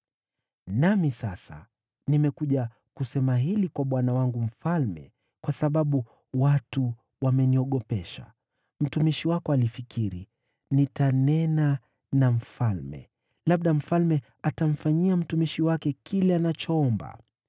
“Nami sasa nimekuja kusema hili kwa bwana wangu mfalme kwa sababu watu wameniogopesha. Mtumishi wako alifikiri, ‘Nitanena na mfalme, labda mfalme atamfanyia mtumishi wake kile anachoomba.